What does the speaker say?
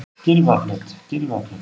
Gylfaflöt